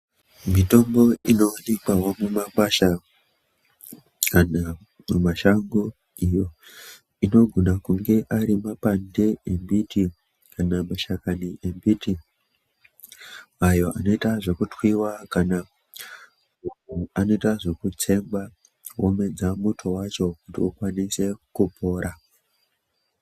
Mitombo inovanikwavo mumakwasha kana mumashango iyo inogona kunge ari mapande embiti kana mashakani embiti. Ayo anoita zvekutwiva kana anoita zvekutsengwa omedza muto vacho kuti ukwanise kupora.